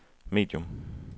medium